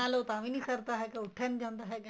ਨਾਲ ਤਾਂ ਵੀ ਨਹੀਂ ਸਰਦਾ ਹੈਗਾ ਉੱਠਿਆਂ ਨਹੀਂ ਜਾਂਦਾ ਹੈਗਾ